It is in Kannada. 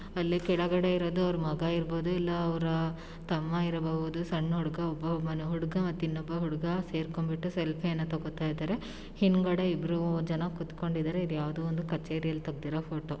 ಅಲ್ಲೇ ಕೆಳಗಡೆ ಇರದು ಅವರ್ ಮಗ ಇರ್ಬೋದು ಇಲ್ಲ ಅವರ ತಮ್ಮ ಇರಬಹುದು ಸಣ್ ಹುಡ್ಗ ಒಬ್ಬ-ಒಬ್ಬ ಹುಡ್ಗ ಮತ್ ಇನ್ನೊಬ್ಬ ಹುಡ್ಗ ಸೇರ್ಕೊಂಬಿಟ್ಟು ಸೆಲ್ಫಿ ಅನ್ನ ತೊಗೋತಾಇದಾರೆ. ಹಿಂದ್ಗಡೆ ಇಬ್ಬರು ಜನ ಕುತ್ಕೊಂಡಿದ್ದಾರೆ. ಇದು ಯಾವ್ದೋ ಒಂದು ಕಚೇರಿಯಲ್ಲಿ ತೆಗ್ದಿರೋ ಫೋಟೋ .